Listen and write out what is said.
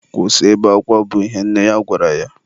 Kwụsị ibe akwa! bụ ihe nne ya gwara ya.